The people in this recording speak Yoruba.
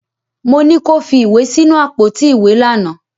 Mọ ní kí ó fi ìwé sínú àpótí ìwé lánàá.